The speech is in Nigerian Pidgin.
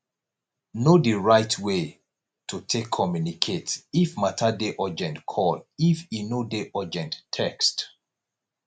know di right way to take communicate if matter dey urgent call if e no dey urgent text